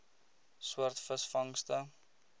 soort visvangste